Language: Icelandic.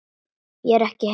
Ég er ekki heima